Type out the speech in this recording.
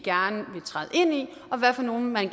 og hvad for nogle vi